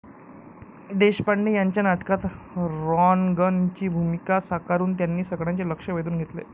देशपांडे यांच्या नाटकात 'रॉन्गन' ची भूमिका साकारून त्यांनी सगळ्यांचे लक्ष्य वेधून घेतले.